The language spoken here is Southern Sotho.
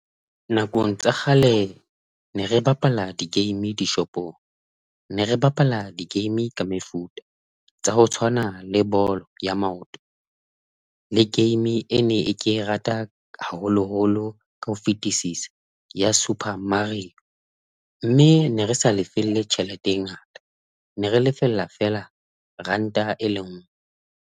Nakong tsa kgale ne re bapala di-game dishopong ne re bapala di-game ka mefuta tsa ho tshwana le bolo ya maoto le game ene ke e rata haholoholo ka ho fetisisa ya Super Mario, mme ne re sa lefelle tjhelete e ngata ne re lefella feela ranta e lenngwe.